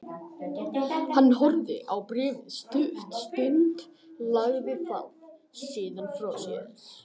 Hann horfði á bréfið stutta stund, lagði það síðan frá sér.